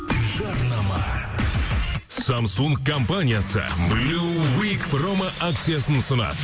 жарнама самсунг компаниясы промо акциясын ұсынады